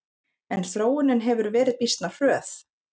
En þróunin hefur verið býsna hröð.